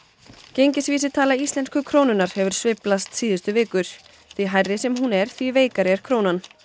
gengisvísitala íslensku krónunnar hefur sveiflast síðustu vikur því hærri sem hún er því veikari er krónan